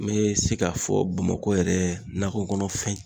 N be se k'a fɔ bamakɔ yɛrɛ nakɔkɔnɔ fɛn